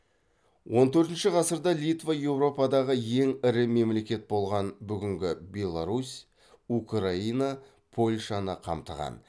он төртінші ғасырда литва еуропадағы ең ірі мемлекет болған бүгінгі беларусь украина польшаны қамтыған